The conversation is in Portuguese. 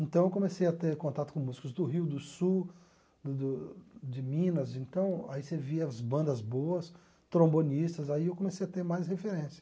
Então eu comecei a ter contato com músicos do Rio do Sul, do do de Minas, então aí você via as bandas boas, trombonistas, aí eu comecei a ter mais referência.